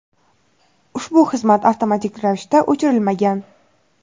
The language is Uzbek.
ushbu xizmat avtomatik ravishda o‘chirilmagan.